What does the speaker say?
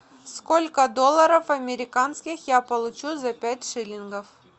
сколько долларов американских я получу за пять шиллингов